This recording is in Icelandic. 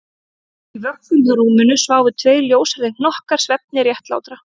Í vöggum hjá rúminu sváfu tveir ljóshærðir hnokkar svefni réttlátra